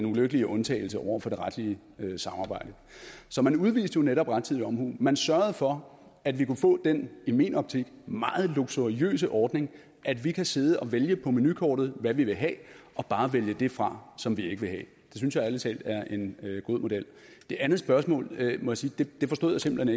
ulykkelige undtagelse over for det retlige samarbejde så man udviste jo netop rettidig omhu man sørgede for at vi kunne få den i min optik meget luksuriøse ordning at vi kan sidde og vælge på menukortet hvad vi vil have og bare vælge det fra som vi ikke vil have det synes jeg ærlig talt er en god model det andet spørgsmål må jeg sige at det forstod jeg simpelt